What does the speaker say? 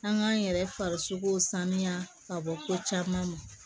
An k'an yɛrɛ farikolo saniya ka bɔ ko caman ma